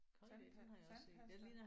Tandpasta? Tandpasta?